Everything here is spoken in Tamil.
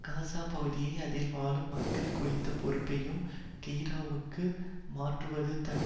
காசா பகுதியையும் அதில் வாழும் மக்கள் குறித்த பொறுப்பையும் கெய்ரோவிற்கு மாற்றுவது தான்